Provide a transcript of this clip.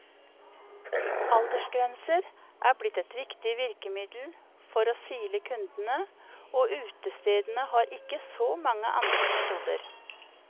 Aldersgrenser er blitt et viktig virkemiddel for å sile kundene, og utestedene har ikke så mange andre metoder.